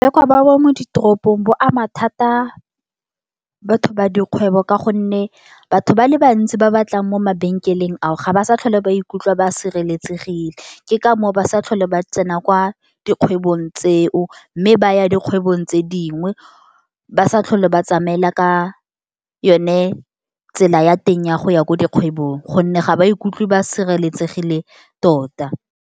Bokebekwa ba mo ditoropong bo ama thata batho ba dikgwebo ka gonne, batho ba le bantsi ba batlang mo mabenkeleng ao, ga ba sa tlhole ba ikutlwa ba sireletsegile ke ka mo o ba sa tlhole ba tsena kwa dikgwebong tseo, mme ba ya dikgwebo tse dingwe, ba sa tlhole ba tsamaela ka yone tsela ya teng ya go ya ko dikgwebong, gonne ga ba ikutlwe ba sireletsegile tota.